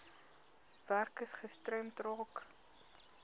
werkers gestremd raak